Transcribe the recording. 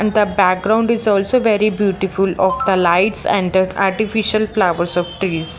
and the background is also very beautiful of the lights and artificial flowers of trees .